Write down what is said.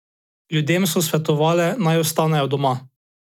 Ljudem so svetovale, naj ostanejo doma.